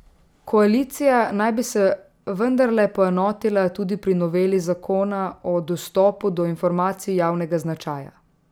Koalicija naj bi se vendarle poenotila tudi pri noveli zakona o dostopu do informacij javnega značaja.